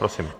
Prosím.